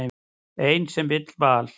Ein sem vill val.